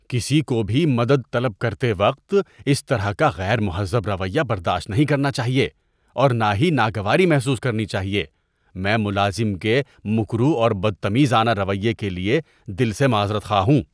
‏کسی کو بھی مدد طلب کرتے وقت اس طرح کا غیر مہذب رویہ برداشت نہیں کرنا چاہیے اور نہ ہی ناگواری محسوس کرنی چاہیے۔ میں ملازم کے مکروہ اور بدتمیزانہ رویے کے لیے دل سے معذرت خواہ ہوں۔